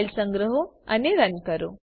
file સંગ્રહો અને run કરો